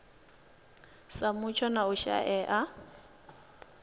sa mutsho na u shaea